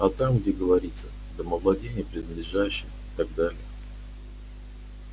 а там где говорится домовладение принадлежащее и так далее